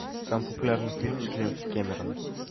самый популярный фильм джеймса кэмерона